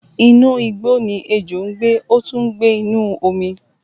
Inú igbó ni ejò ń gbé, ó tún ń gbé inú omi